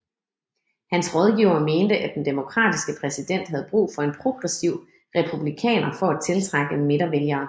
Hans rådgivere mente at den Demokratiske præsident havde brug for en progressiv Republikaner for at tiltrække midtervælgere